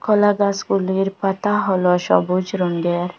কলাগাসগুলির পাতা হল সবুজ রঙ্গের।